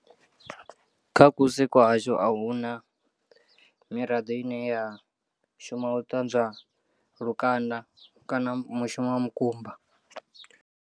Kha kusi kwa hashu ahuna miraḓo ine ya shuma u ṱanzwa lukanda kana mushumo wa mukumba.